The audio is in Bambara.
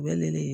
U ye ne ye